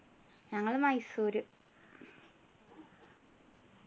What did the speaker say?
ഞങ്ങള് മൈസൂര്